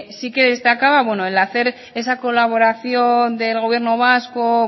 sí que destacaba el hacer esa colaboración del gobierno vasco